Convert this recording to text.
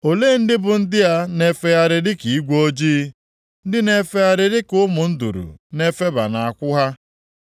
“Olee ndị bụ ndị a na-efegharị dịka igwe ojii, ndị na-efegharị dịka ụmụ nduru na-efeba nʼakwụ ha?